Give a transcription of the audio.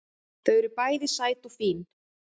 Þau eru bæði sæt og fín